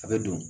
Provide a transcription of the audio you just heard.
A bɛ don